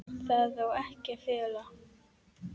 Það á ekki að fela.